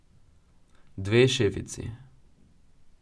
Dve šefici.